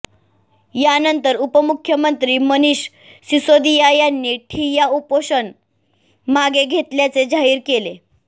यानंतर उपमुख्यमंत्री मनीष सिसोदिया यांनी ठिय्या उपोषण मागे घेतल्याचे जाहीर केले